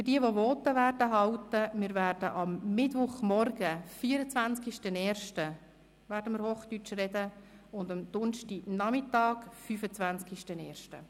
Für diejenigen, die Voten halten werden: Wir werden am Mittwoch, dem 24. Januar 2018, morgens und am Donnerstag, dem 25. Januar 2018, nachmittags hochdeutsch sprechen.